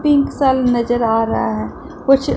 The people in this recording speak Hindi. पिंक सा नजर आ रहा है कुछ--